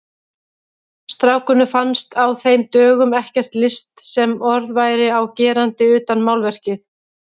Strákunum fannst á þeim dögum ekkert list sem orð væri á gerandi utan málverkið.